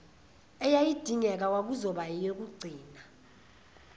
eyayidingeka kwakuzoba ngeyokugcina